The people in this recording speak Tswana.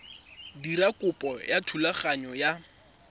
dira kopo ya thulaganyo ya